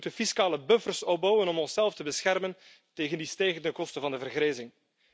We moeten fiscale buffers opbouwen om onszelf te beschermen tegen die stijgende kosten van de vergrijzing.